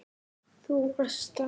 Þú varst þannig.